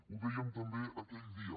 ho dèiem també aquell dia